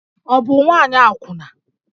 Ọ bụ nwaanyị akwụna?